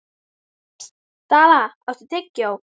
Dalla, áttu tyggjó?